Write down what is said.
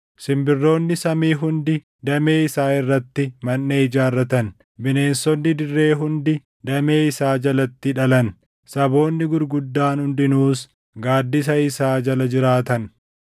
Simbirroonni samii hundi damee isaa irratti manʼee ijaarratan; bineensonni dirree hundi damee isaa jalatti dhalan; saboonni gurguddaan hundinuus, gaaddisa isaa jala jiraatan.